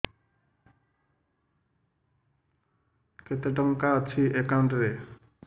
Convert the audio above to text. କେତେ ଟଙ୍କା ଅଛି ଏକାଉଣ୍ଟ୍ ରେ